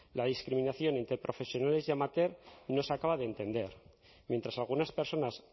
la discriminación a interprofesionales y amateur no se acaba de entender mientras algunas personas